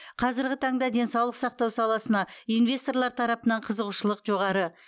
қазырғы таңда денсаулық сақтау саласына инвесторлар тарапынан қызығушылық жоғары